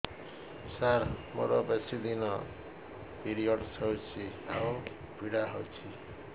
ସାର ମୋର ବେଶୀ ଦିନ ପିରୀଅଡ଼ସ ହଉଚି ଆଉ ପୀଡା ହଉଚି